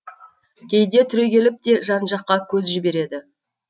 кейде түрегеліп те жан жаққа көз жібереді